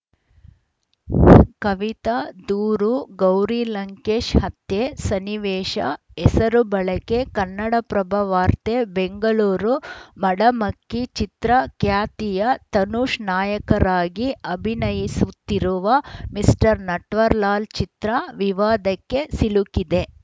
ಕವಿತಾ ದೂರು ಗೌರಿ ಲಂಕೇಶ್‌ ಹತ್ಯೆ ಸನ್ನಿವೇಶ ಹೆಸರು ಬಳಕೆ ಕನ್ನಡಪ್ರಭ ವಾರ್ತೆ ಬೆಂಗಳೂರು ಮಡಮಕ್ಕಿ ಚಿತ್ರ ಖ್ಯಾತಿಯ ತನುಷ್‌ ನಾಯಕರಾಗಿ ಅಭಿನಯಿಸುತ್ತಿರುವ ಮಿಸ್ಟರ್‌ ನಟ್ವರ್‌ಲಾಲ್‌ ಚಿತ್ರ ವಿವಾದಕ್ಕೆ ಸಿಲುಕಿದೆ